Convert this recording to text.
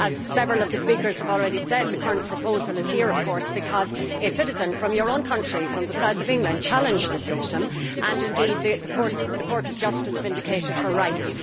As several of the speakers have already said, the current proposal is here, of course, because a citizen from your own country, from the south of England, challenged the system and because the Court of Justice vindicated her rights.